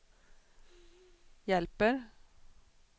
hjälper